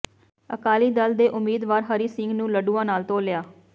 ਅਕਾਲੀ ਦਲ ਦੇ ਉਮੀਦਵਾਰ ਹਰੀ ਸਿੰਘ ਨੂੰ ਲੱਡੂਆਂ ਨਾਲ ਤੋਲਿਆ